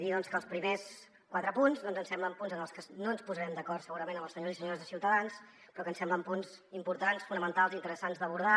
dir que els primers quatre punts doncs ens semblen punts en els que no ens posarem d’acord segurament amb els senyors i senyores de ciutadans però que ens semblen punts importants fonamentals i interessants d’abordar